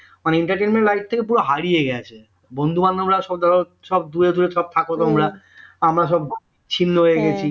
মানে entertainment life থেকে পুরো হারিয়ে গেছে বন্ধু-বান্ধবীরা সব দ্যাখো সব দূরে দূরে সব থাকো তোমরা আমরা সব ছিন্ন হয়ে গেছি